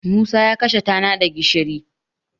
Musacya kashe tana da gishiri.